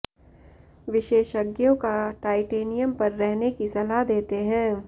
विशेषज्ञों का टाइटेनियम पर रहने की सलाह देते हैं